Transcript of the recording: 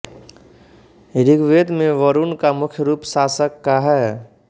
ऋग्वेद में वरुण का मुख्य रूप शासक का है